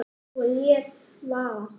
Og lét vaða.